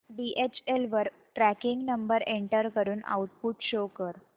DHL वर tracking number enter करून output show कर